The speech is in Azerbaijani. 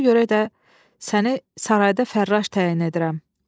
Ona görə də səni sarayda fərraş təyin edirəm.